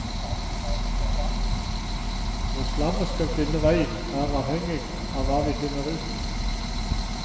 Hvor slammet skal finne veien, er avhenging av hva vi finner ut.